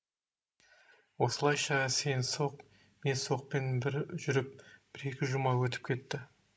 осылайша сен соқ мен соқпен жүріп бір екі жұма өтіп кетті